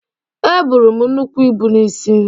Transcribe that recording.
Eburu m nnukwu ibu n’isi